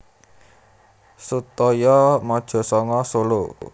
Sutoyo Mojosongo Solo